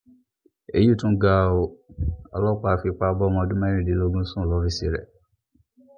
èyí tún ga ọ́ ọlọ́pàá fipá bọ́mọ ọdún mẹ́rìndínlógún sùn lọ́fíìsì rẹ̀